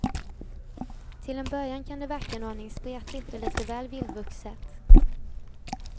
Till en början kan det verka en aning spretigt och lite väl vildvuxet.